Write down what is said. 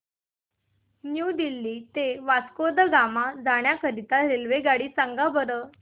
new Delhi ते वास्को द गामा जाण्या करीता रेल्वेगाडी सांगा बरं